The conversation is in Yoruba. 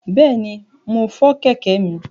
Bẹ̀ẹ̀ni, mo fọ kẹ̀kẹ́ mi.